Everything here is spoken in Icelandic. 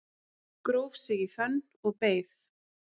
Gróf sig í fönn og beið